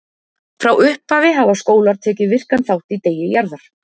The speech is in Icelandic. Frá upphafi hafa skólar tekið virkan þátt í Degi Jarðar.